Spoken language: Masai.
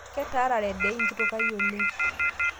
Ketaarara dei nkitokai oleng